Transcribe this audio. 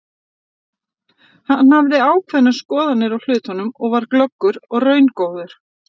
Hann hafði ákveðnar skoðanir á hlutunum, var glöggur og raungóður.